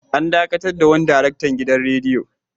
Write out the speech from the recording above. An dakatar da wani daraktan gidan radiyo.